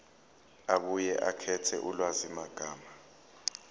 abuye akhethe ulwazimagama